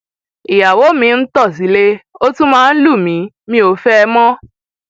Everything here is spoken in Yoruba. ìyàwó mi ń tọ sílé ó tún máa ń lù mí mi ò fẹ ẹ mọ